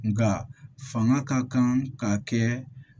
Nga fanga ka kan ka kɛ